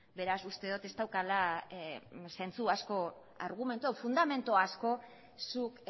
beraz uste dut ez daukala zentzu asko argumentu hau fundamentu asko zuk